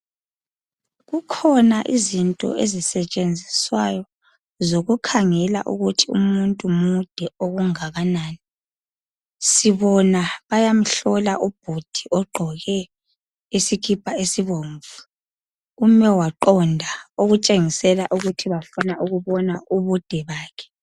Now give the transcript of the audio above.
kukhona izinto ezisetshenziswayo zokukhangela ukuthi umuntu mude okungakanani sibona bayamhlola ubhudi ogqoke isikipa esibomvu ume waqonda okutshengisela ukuthi bafuna ukubona ubude bakhe